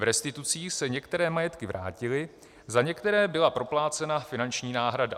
V restitucích se některé majetky vrátily, za některé byla proplácena finanční náhrada.